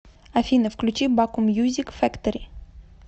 афина включи баку мьюзик фэктори